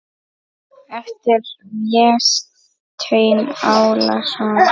eftir Véstein Ólason